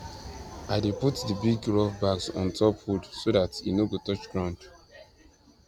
i dey put the big rough bags ontop wood so that e no go touch ground